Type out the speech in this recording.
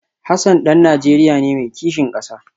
Hassan dan Najeriya ne mai kishin kasa